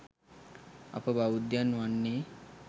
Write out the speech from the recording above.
අප බෞද්ධයන් වන්නේ